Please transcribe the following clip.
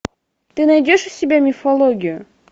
ты найдешь у себя мифологию